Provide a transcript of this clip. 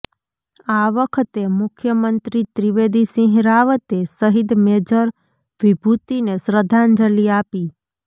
આ વખતે મુખ્યમંત્રી ત્રિવેદી સિંહ રાવતે શહીદ મેજર વિભૂતિને શ્રદ્ધાંજલિ આપી